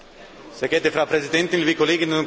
Frau Präsidentin, liebe Kolleginnen und Kollegen!